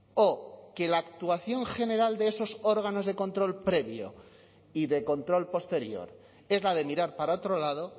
o que la actuación general de esos órganos de control previo y de control posterior es la de mirar para otro lado